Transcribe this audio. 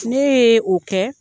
Ne ye o kɛ